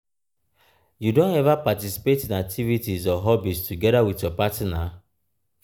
you don ever participate in activities or hobbies together with your partner.